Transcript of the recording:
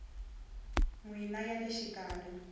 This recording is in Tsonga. n wini ya le xikarhi